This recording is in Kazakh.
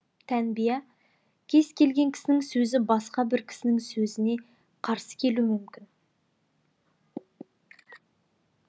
тәнбия кез келген кісінің сөзі басқа бір кісінің сөзіне қарсы келуі мүмкін